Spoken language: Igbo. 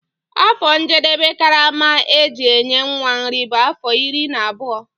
Afọ njedebe karama eji enye nwa nri bu afọ iri na abụọ.